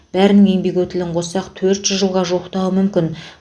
бәрінің еңбек өтілін қоссақ төрт жүз жылға жуықтауы мүмкін